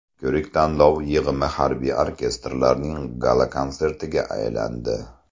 Ko‘rik-tanlov yig‘ma harbiy orkestrlarning gala-konsertiga aylandi.